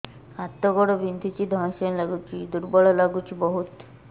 ହାତ ଗୋଡ ବିନ୍ଧୁଛି ଧଇଁସଇଁ ଲାଗୁଚି ଦୁର୍ବଳ ଲାଗୁଚି ବହୁତ